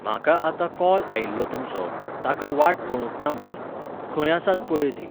म्हाका आतां कॉल आयिल्लो तुमचो, ताका वाट कळूंक ना म्हणून. खंय आसात पळय तीं.